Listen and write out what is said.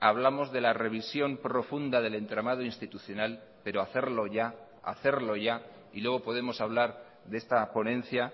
hablamos de la revisión profunda del entramado institucional pero hacerlo ya hacerlo ya y luego podemos hablar de esta ponencia